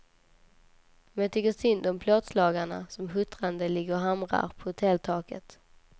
Men jag tycker synd om plåtslagarna som huttrande ligger och hamrar på hotelltaket.